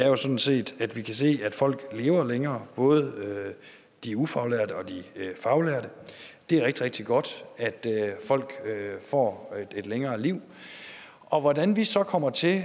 er sådan set at vi kan se at folk lever længere både de ufaglærte og de faglærte det er rigtig rigtig godt at folk får et længere liv og hvordan vi så kommer til